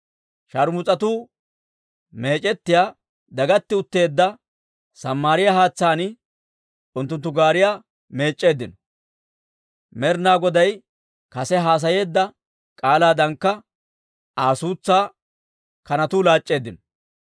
Sharmus'atuu meec'ettiyaa, dagatti utteedda Samaariyaa haatsaan unttunttu gaariyaa meec'c'eeddino. Med'inaa Goday kase haasayeedda k'aalaadankka, Aa suutsaa kanatuu laac'c'eeddino.